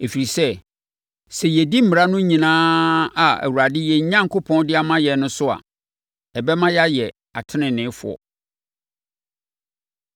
Ɛfiri sɛ, sɛ yɛdi mmara no nyinaa a Awurade, yɛn Onyankopɔn, de ama yɛn no so a, ɛbɛma yɛayɛ ateneneefoɔ.”